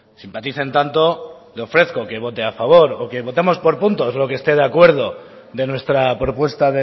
simpaticen tanto le ofrezco que vote a favor o que votemos por puntos lo que esté de acuerdo de nuestra propuesta